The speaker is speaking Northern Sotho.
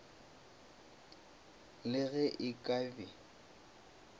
le ge e ka be